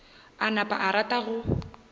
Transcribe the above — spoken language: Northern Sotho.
a napa a rata go